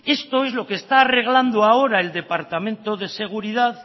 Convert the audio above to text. esto es lo que está arreglando ahora el departamento de seguridad